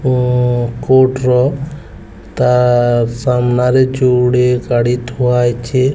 ଉଁ କୋଟର ତା ସାମ୍ନାରେ ଯୋଡ଼େ ଗାଡ଼ି ଥୁଆ ହେଇଚେ।